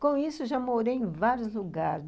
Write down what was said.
Com isso, já morei em vários lugares.